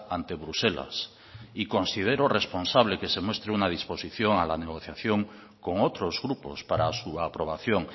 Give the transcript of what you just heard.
ante bruselas y considero responsable que se muestre una disposición a la negociación con otros grupos para su aprobación